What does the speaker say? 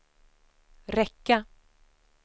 räcka